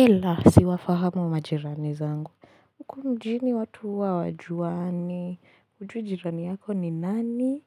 Ela, siwafahamu majirani zangu. Huku mjini watu huwa hawajuani, hujui jirani yako ni nani,